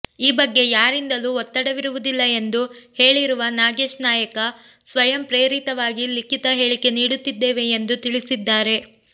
ಈ ಬಗ್ಗೆ ಯಾರಿಂದಲೂ ಒತ್ತಡವಿರುವುದಿಲ್ಲ ಎಂದು ಹೇಳಿರುವ ನಾಗೇಶ್ ನಾಯಕ ಸ್ವಯಂ ಪ್ರೇರಿತವಾಗಿ ಲಿಖಿತ ಹೇಳಿಕೆ ನೀಡುತ್ತಿದ್ದೇವೆ ಎಂದು ತಿಳಿಸಿದ್ದಾರೆ